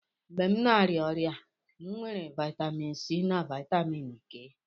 Mgbe m na-arịa ọrịa, m weere vitamin C na vitamin K.